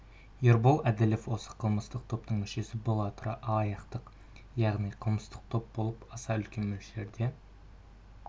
ербол әділов осы қылмыстық топтың мүшесі бола тұра алаяқтық яғни қылмыстық топ болып аса үлкен мөлшерде